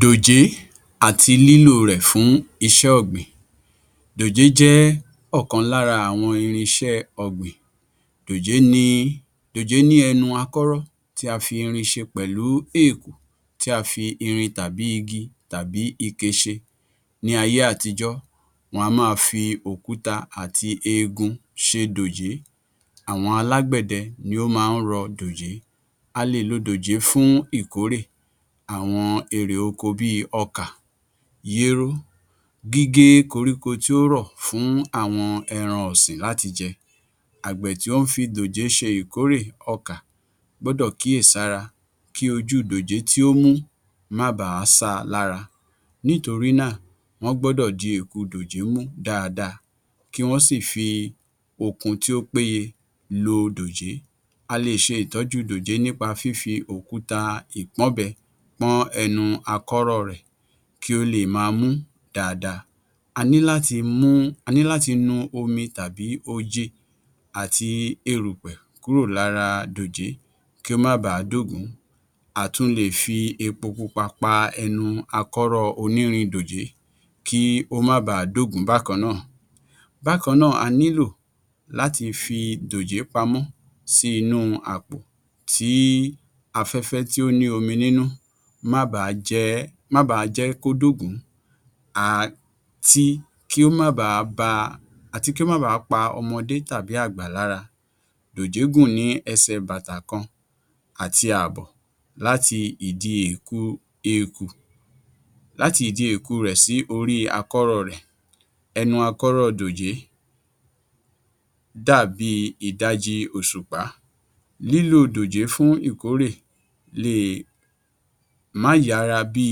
Dòjé àti lílò rẹ̀ fún iṣẹ́ ọ̀gbìn. Dòjé jẹ́ ọ̀kan lára àwọn irinṣẹ́ ọ̀gbìn. Dòjé ní ẹnu akọ́rọ́ tí a fi irin ṣe pẹ̀lú eèkù tí a fi irin tàbí i igi tàbí ike ṣe ní ayé-àtijọ́, wọ́n á máa fi òkúta àti eegun ṣe dòjé, àwọn alágbẹ̀dẹ ni wọ́n máa ń rọ dòjé. A lè lo dòjé fún ìkórè àwọn èrè oko bí i ọkà, yéró, gígé koríko tí ó rọ̀ fún àwọn ẹran ọ̀sìn láti jẹ, àgbẹ̀ tí ó ń fi dòjé ṣe ìkórè ọkà gbọ́dọ̀ kíyèsi ara kí ojú dòjé tí ó mú má ba à á ṣá a lára, nítorí nà wọ́n gbọ́dọ̀ di eèkù dòjé mú dáadáa kí wọ́n sì fi okun tí ó péye lo dòjé. A lè ṣe ìtójú dòjé ní pa fífi òkúta ìpọ́nbẹ pọ́n ẹnu akọ́rọ́ rẹ̀ kí ó le è máa mú dáadáa, a ní láti nu omi tàbí oje àti erùpẹ̀ kúro lára dòjé kí ó má bà á dógùn-ún, a tún le è fi epo pupa pa akọ́rọ́ onírin dòjé kí ó má bà á dógùn-ún bákan náà. Bákan náà a nílò láti fi dòjé pa mọ́ sí inú àpò tí afẹ́fẹ́ tí ó ní omi nínú má ba à á jẹ́ kó dógùn-ún àti kí ó má ba àá pa ọmọdé tàbí àgbà lára. Dòjé gùn ní ẹsẹ̀ bàtà kan àti àbọ̀ láti ìdí eèku rẹ̀ sí orí akọ́rọ́ rẹ̀. Ẹnu akọ́rọ́ dòjé dàbíi ìdajì òṣùpá. Lílò dòjé fún ìkórè le è má yára bí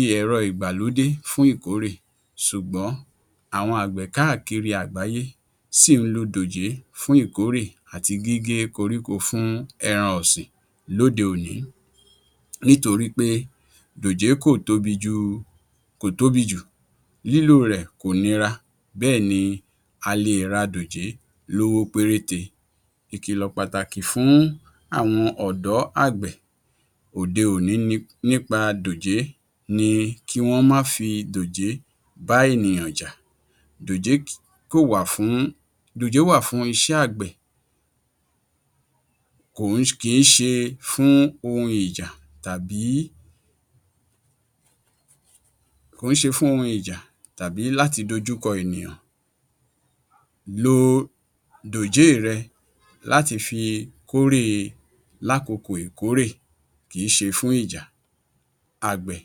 i ẹ̀rọ ìgbàlódé fún ìkórè ṣùgbọ́n àwọn àgbẹ̀ káàkiri àgbáyé sì ń lo dòjé fún ìkórè àti gígé koríko fún ẹran ọ̀sìn lóde-òní nítorí pé dòjé kò tóbi jù, lílò rẹ̀ kò nira, bẹ́ẹ̀ ni a lè ra dòjé ní owó péréte, ìkìlọ̀ pàtàkì fún àwọn ọ̀dọ́ àgbẹ̀ òde-òní nípa dòjé ni kí wọ́n má fi dòjé bá ènìyàn jà, dòjé wà fún iṣẹ́ àgbẹ̀ kìí ṣe fún ohun ìjà tàbí láti dojú kọ ènìyàn. Lo dòjé è rẹ láti fi kórè lákokò ìkórè kìí ṣe fún ìjà àgbẹ̀.